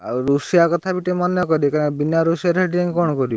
ଆଉ ରୋଷେଇଆ କଥା ବି ଟିକେ ମନେ କରି କାଇଁ ନା ବିନା ରୋଷେଇଆରେ ସେଠି ଯାଇଁ କଣ କରିବୁ?